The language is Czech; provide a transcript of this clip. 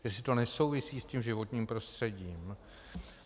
Jestli to nesouvisí s tím životním prostředím.